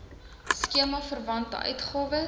skema verwante uitgawes